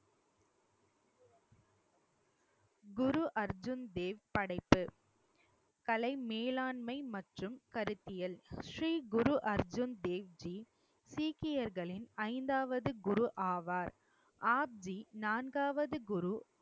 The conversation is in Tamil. குரு அர்ஜுன் தேவ் படைப்பு, கலை மேலாண்மை மற்றும் கருத்தியல் ஸ்ரீ குரு அர்ஜுன் தேவ்ஜி சீக்கியர்களின் ஐந்தாவது குரு ஆவார் ஆத்வி நான்காவது குரு